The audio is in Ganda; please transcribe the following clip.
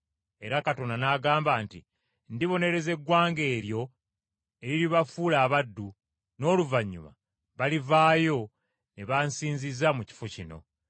Era Katonda n’agamba nti, ‘Ndibonereza eggwanga eryo eriribafuula abaddu, n’oluvannyuma balivaayo ne bansinziza mu kifo kino.’